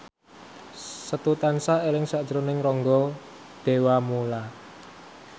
Setu tansah eling sakjroning Rangga Dewamoela